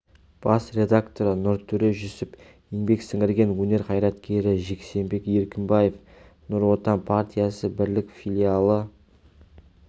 бас редакторы нұртөре жүсіп еңбек сіңірген өнер қайраткері жексенбек еркінбаев нұр отан партиясы бірлік филиалы